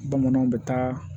Bamananw bɛ taa